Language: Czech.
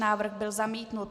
Návrh byl zamítnut.